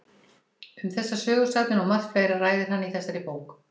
Um þessar sögusagnir og margt fleira ræðir hann í þessari bók.